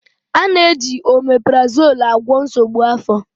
A na-eji oméprazolú agwọ nsogbu afọ.